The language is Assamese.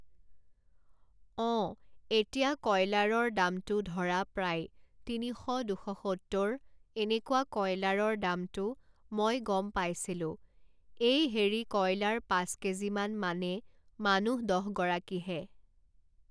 অঁ এতিয়া কয়লাৰৰ দামটো ধৰা প্ৰায় তিনিশ দুশ সত্তৰ এনেকুৱা কয়লাৰৰ দামটো মই গম পাইছিলোঁ এই হেৰি কয়লাৰ পাঁচ কেজিমান মানে মানুহ দহগৰাকীহে